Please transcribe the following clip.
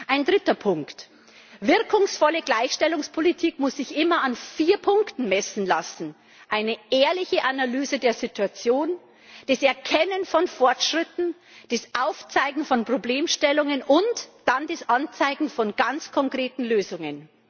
Ein dritter Punkt Wirkungsvolle Gleichstellungspolitik muss sich immer an vier Punkten messen lassen einer ehrlichen Analyse der Situation, dem Erkennen von Fortschritten, dem Aufzeigen von Problemstellungen und dann dem Anzeigen von ganz konkreten Lösungen.